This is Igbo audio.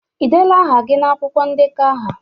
Ịdela aha gị na akwụkwọ ndekọ ahụ?